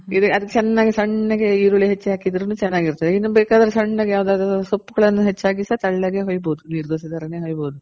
ಅದಕ್ಕೆ ಚೆನ್ನಾಗಿ ಸಣ್ಣಗಿ ಈರುಳ್ಳಿ ಹೆಚ್ಚಿ ಹಾಕಿದ್ರುನು ಚೆನ್ನಾಗಿರುತ್ತೆ. ಇನ್ನು ಬೇಕಾದ್ರೆ ಸಣ್ಣಗೆ ಯಾವ್ದಾದ್ರು ಸೊಪ್ಪ್ ಗಳನ್ನು ಹೆಚ್ ಹಾಕುದ್ರು ಸಹ ತೆಳ್ಳಗೆ ಹೊಯ್ಬೋದು. ನೀರ್ ದೋಸೆ ತರನೇ ಹೊಯ್ಬೋದು